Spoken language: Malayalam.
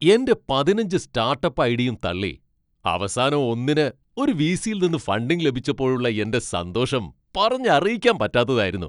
എൻ്റെ പതിനഞ്ച് സ്റ്റാട്ടപ്പ് ഐഡയും തള്ളി അവസാനം ഒന്നിന് ഒരു വി.സി.യിൽ നിന്ന് ഫണ്ടിംഗ് ലഭിച്ചപ്പോഴുള്ള എൻ്റെ സന്തോഷം പറഞ്ഞറിയിക്കാൻ പറ്റാത്തതായിരുന്നു.